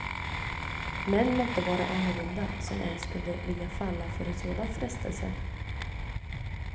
Män måtte vara annorlunda som ens kunde vilja falla för en sådan frestelse.